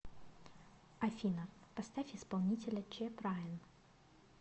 афина поставь исполнителя чеб райан